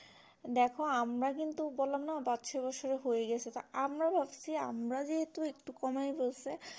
দেখো আমরা কিন্তু বললাম না পাঁচ ছয় বছরে হয়ে গেছে তা আমরা ভাবছি আমরা যেহুতু একটু কমিয়ে ফেলছে